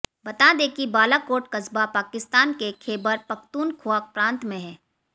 बता दें कि बालाकोट कस्बा पाकिस्तान के ख़ैबर पख़्तूनख़्वा प्रांत में है